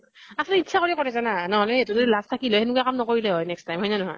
আচলতে ইতচ্ছা কৰি কৰে জানা । নহলে সেইতো যদি লাজ থাকিলে হয়, সেনেকুৱা কাম নকৰিলে হয় next time, হয় নে নহয় ?